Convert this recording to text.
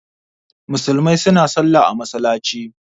Musulmai suna Sallah a masallaci.